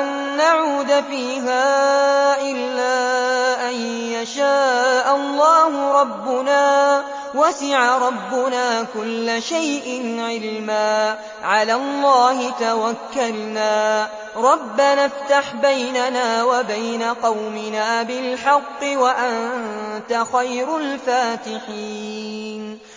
أَن نَّعُودَ فِيهَا إِلَّا أَن يَشَاءَ اللَّهُ رَبُّنَا ۚ وَسِعَ رَبُّنَا كُلَّ شَيْءٍ عِلْمًا ۚ عَلَى اللَّهِ تَوَكَّلْنَا ۚ رَبَّنَا افْتَحْ بَيْنَنَا وَبَيْنَ قَوْمِنَا بِالْحَقِّ وَأَنتَ خَيْرُ الْفَاتِحِينَ